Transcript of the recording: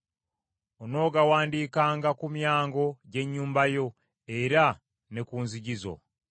Onoogawandiikanga ku myango gy’ennyumba yo, era ne ku nzigi zo.